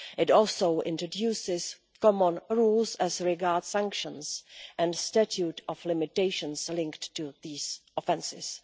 It also introduces common rules as regards sanctions and statute of limitations linked to these offences.